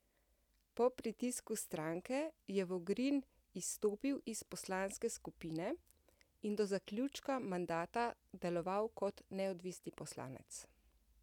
Po pritisku stranke je Vogrin izstopil iz poslanske skupine in do zaključka mandata deloval kot neodvisni poslanec.